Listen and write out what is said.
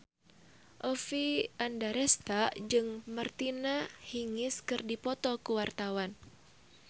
Oppie Andaresta jeung Martina Hingis keur dipoto ku wartawan